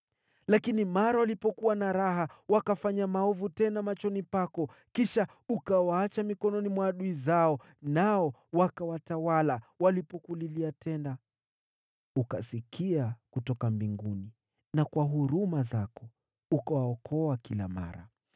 “Lakini mara walipokuwa na raha, wakafanya maovu tena machoni pako. Kisha ukawaacha mikononi mwa adui zao, nao wakawatawala. Walipokulilia tena, ukasikia kutoka mbinguni, na kwa huruma zako ukawaokoa kila mara.